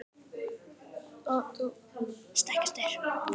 stekkjarstaur